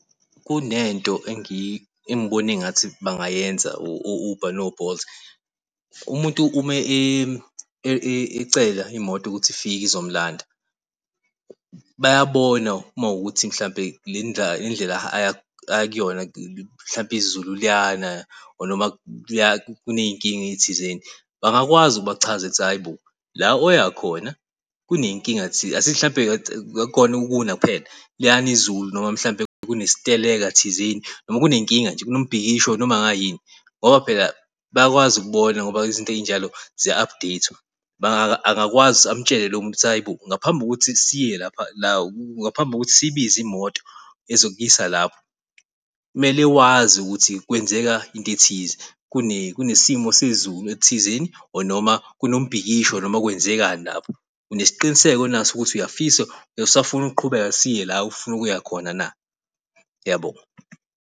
Kunento engibona engathi bangayenza o-Uber no-Bolt umuntu, uma ecela imoto ukuthi ifike izomulanda bayabona uma kuwukuthi mhlawumbe le ndlela aya kuyona, mhlawumbe izulu liyana or noma kuney'nkinga thizeni, bangakwazi ukubachazele ukuthi hhayi bo la oyakhona kuney'nkinga Asithi akukhona ukuna kuphela liyana izulu, noma mhlawumbe kunesiteleka thizeni. Noma kunenkinga nje kunomibhikisho noma kungayini. Ngoba phela bayakwazi ukubona ngoba izinto ezinjalo ziya-update-wa. Angakwazi amtshele lo muntu ukuthi hhayi bo ngaphambi kokuthi siye lapha . Ngaphambi kokuthi siyibize imoto ezokuyisa lapho kumele wazi ukuthi kwenzeka into ethize kunesimo sezulu elithizeni or noma kunombhikisho noma kwenzekani lapho. Unesiqiniseko na ukuthi uyafisa, usafuna ukuqhubeka siye la ofuna ukuya khona na? Uyabo?